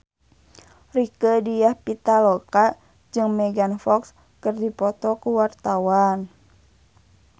Rieke Diah Pitaloka jeung Megan Fox keur dipoto ku wartawan